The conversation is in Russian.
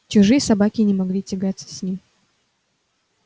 чужие собаки не могли тягаться с ним